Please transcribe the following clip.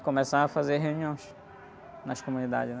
começava a fazer reuniões nas comunidades, né?